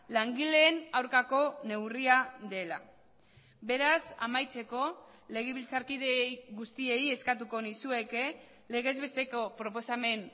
langileen aurkako neurria dela beraz amaitzeko legebiltzarkideei guztiei eskatuko nizueke legez besteko proposamen